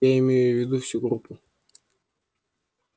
я имею в виду всю группу